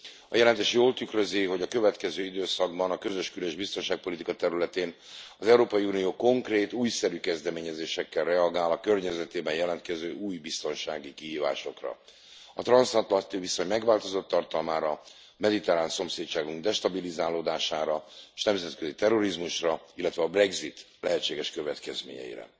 A jelentés jól tükrözi, hogy a következő időszakban a közös kül és biztonságpolitika területén az Európai Unió konkrét, újszerű kezdeményezésekkel reagál a környezetében jelentkező új biztonsági kihívásokra, a transzatlanti viszony megváltozott tartalmára, mediterrán szomszédságunk destabilizálódására, és a nemzetközi terrorizmusra, illetve a brexit lehetséges következményeire.